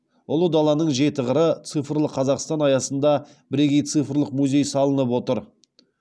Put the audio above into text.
ұлы даланың жеті қыры цифрлы қазақстан аясында бірегей цифрлық музей салынып отыр